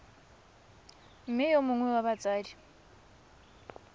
mme yo mongwe wa batsadi